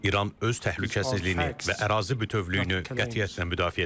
İran öz təhlükəsizliyini və ərazi bütövlüyünü qətiyyətlə müdafiə edəcək.